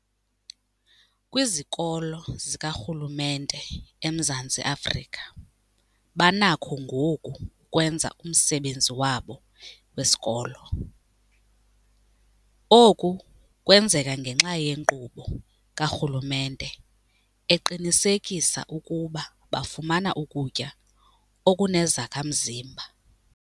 Kwizikolo zikarhulumente eMzantsi Afrika banakho ngoku ukwenza umsebenzi wabo wesikolo. Oku kwenzeka ngenxa yenkqubo karhulumente eqinisekisa ukuba bafumana ukutya okunezakha-mzimba.